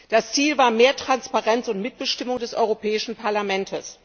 Das Ziel war mehr Transparenz und Mitbestimmung des Europäischen Parlaments.